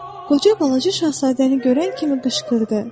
Qoca balaca şahzadəni görən kimi qışqırdı.